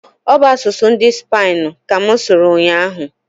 ọ bụ asụsụ ndị Supainu ka mụ sụrụ ụnyaahụ.